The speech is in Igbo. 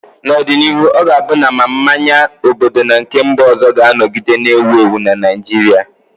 N'ọdịnihu, ọ ga-abụ na ma mmanya obodo na nke mba ọzọ ga-anọgide na-ewu ewu na Naịjirịa